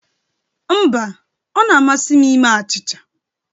Mba, ọ na-amasị m ime achịcha